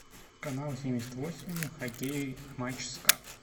канал семьдесят восемь хоккей матч ска